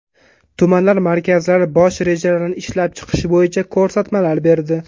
Tumanlar markazlari bosh rejalarini ishlab chiqish bo‘yicha ko‘rsatmalar berdi.